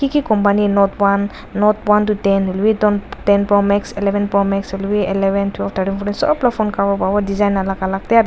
ki company note one note one to ten hoilebi ton ten pro max eleven pro max hoilebi eleven twelve thirteen fourteen sob la phone cover pabo design alag alag te.